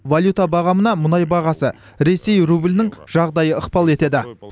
валюта бағамына мұнай бағасы ресей рублінің жағдайы ықпал етеді